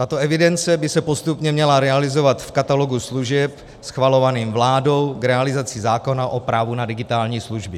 Tato evidence by se postupně měla realizovat v katalogu služeb schvalovaném vládou k realizaci zákona o právu na digitální služby.